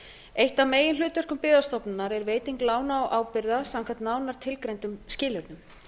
eitt af meginhlutverkum byggðastofnunar er veiting lána og ábyrgða samkvæmt nánar tilgreindum skilyrðum